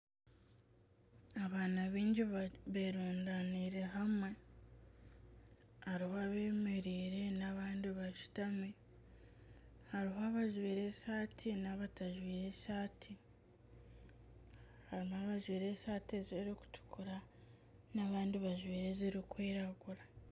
Abaana baingi berundaniire hamwe ,hariho abemereire nana abandi bashutami ,hariho abajwaire esaati nabatazwire esaati harimu abajwaire esaati ezirikutukura nana abandi bajwaire ezirikwiragura